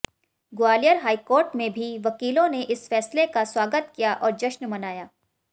Gwalior high court में भी वकीलों ने इस फैसले का स्वागत किया और जश्न मनाया